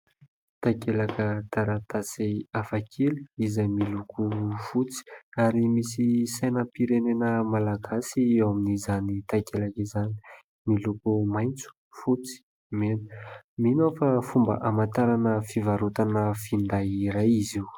Takelaka taratasy hafakely izay miloko fotsy ary misy sainam-pirenena malagasy eo amin'izany takelaka izany. Miloko maitso, fotsy, mena. Mino aho fa fomba hamantarana fivarotana finday iray izy io.